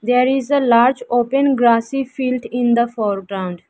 There is a large open grassy field in the foreground.